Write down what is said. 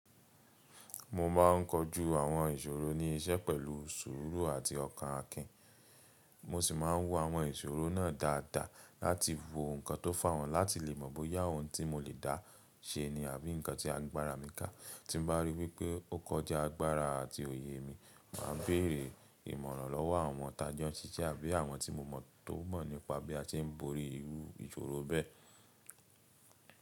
Mo ma ń kojú àwọn ìṣòro ní iṣẹ́ pẹ̀lú sùúrù àti ọkàn akin. Mo sì ma ń wo àwọn ìṣòro náà dáadáa láti wo ǹkan tó fà wọ́n láti lè mọ̀ bóyá ohun tí mo lè dá ṣe ni àbí ǹkan tí agbára mi kà. Tí n bá rí wípé ó kọjá agbára àti òye mi, màá béèrè ìmọ̀ràn lọ́wọ́ àwọn tàa jọ ń ṣiṣẹ́ àbí àwọn tí mo mọ̀ tó mọ̀ nípa bí a ṣe ń borí irú ìṣòro bẹ́ẹ̀.